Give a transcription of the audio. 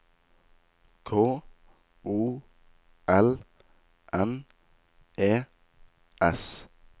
K O L N E S